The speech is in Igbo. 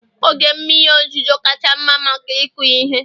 oge mmiri ozuzo kacha mma maka ịkụ ihe